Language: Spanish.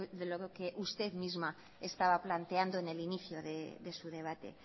de lo que usted misma estaba planteando en el inicio de su debate